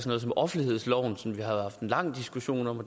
noget som offentlighedsloven som vi jo har haft en lang diskussion om